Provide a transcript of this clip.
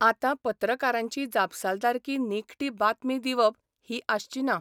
आतां पत्रकारांची जापसालदारकी निखटी बातमी दिवप ही आसची ना.